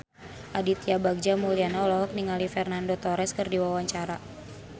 Aditya Bagja Mulyana olohok ningali Fernando Torres keur diwawancara